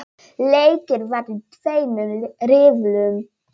Leikið var í tveimur riðlum.